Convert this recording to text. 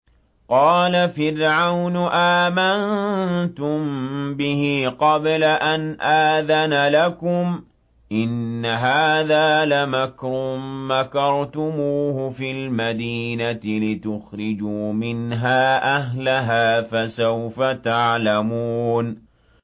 قَالَ فِرْعَوْنُ آمَنتُم بِهِ قَبْلَ أَنْ آذَنَ لَكُمْ ۖ إِنَّ هَٰذَا لَمَكْرٌ مَّكَرْتُمُوهُ فِي الْمَدِينَةِ لِتُخْرِجُوا مِنْهَا أَهْلَهَا ۖ فَسَوْفَ تَعْلَمُونَ